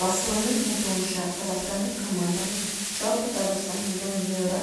басылымның айтуынша қазақстандық команданың жалпы табысы млн еуро